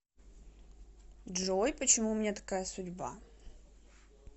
джой почему у меня такая судьба